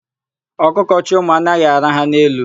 Ọkụkọ chị ụmụ anaghị araha n'elu.